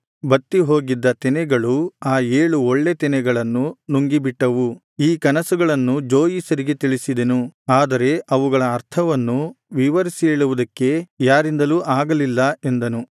ಬತ್ತಿ ಹೋಗಿದ್ದ ತೆನೆಗಳು ಆ ಏಳು ಒಳ್ಳೆ ತೆನೆಗಳನ್ನು ನುಂಗಿಬಿಟ್ಟವು ಈ ಕನಸುಗಳನ್ನು ಜೋಯಿಸರಿಗೆ ತಿಳಿಸಿದೆನು ಆದರೆ ಅವುಗಳ ಅರ್ಥವನ್ನು ವಿವರಿಸಿ ಹೇಳುವುದಕ್ಕೆ ಯಾರಿಂದಲೂ ಆಗಲಿಲ್ಲ ಎಂದನು